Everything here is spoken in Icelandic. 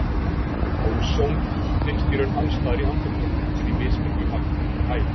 Óson finnst í raun alls staðar í andrúmsloftinu en í mismiklu magni eftir hæð.